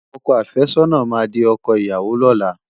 Ọkọ àfẹ́sọ́nà máa di ọkọ ìyàwó lọ́la.